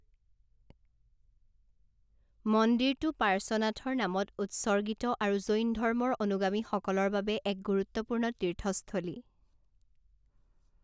মন্দিৰটো পাৰ্শ্বনাথৰ নামত উৎসৰ্গীত আৰু জৈন ধৰ্মৰ অনুগামীসকলৰ বাবে এক গুৰুত্বপূৰ্ণ তীৰ্থস্থলী।